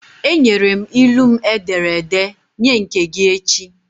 Enyere m ilu m e dere ede, nye nke gị echi!